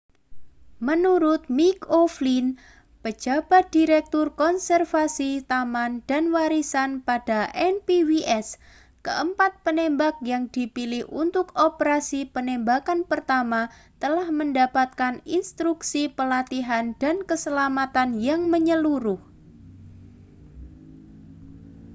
menurut mick o'flynn pejabat direktur konservasi taman dan warisan pada npws keempat penembak yang dipilih untuk operasi penembakan pertama telah mendapatkan instruksi pelatihan dan keselamatan yang menyeluruh